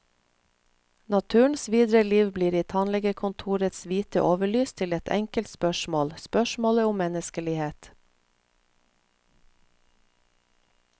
Naturens videre liv blir i tannlegekontorets hvite overlys til ett enkelt spørsmål, spørsmålet om menneskelighet.